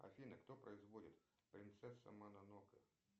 афина кто производит принцесса мононоке